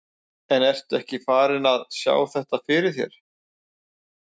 En ertu ekkert farinn að sjá þetta fyrir þér?